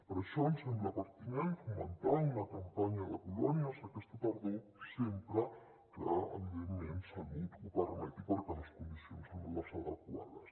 per això ens sembla pertinent fomentar una campanya de colònies aquesta tardor sempre que evidentment salut ho permeti perquè les condicions són les adequades